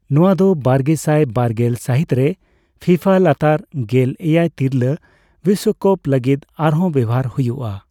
ᱱᱚᱣᱟ ᱫᱚ ᱵᱟᱨᱜᱮᱥᱟᱭ ᱵᱟᱨᱜᱮᱞ ᱥᱟᱹᱦᱤᱛ ᱨᱮ ᱯᱷᱤᱯᱷᱟᱼᱞᱟᱛᱟᱨᱼᱜᱮᱞ ᱮᱭᱟᱭ ᱛᱤᱨᱞᱟᱹ ᱵᱤᱥᱥᱚᱠᱟᱯ ᱞᱟᱹᱜᱤᱫ ᱟᱨᱦᱚᱸ ᱵᱮᱣᱦᱟᱨ ᱦᱩᱭᱩᱜᱼᱟ ᱾